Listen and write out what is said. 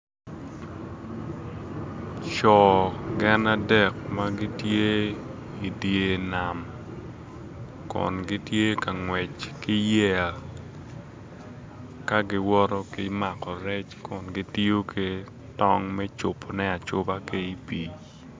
Co gin adek ma gitye i dyer nam kun gitye ka ngwec ki yeya ka giwoto ki mako rec kun gityo ki tong me cubone acuba ki i pii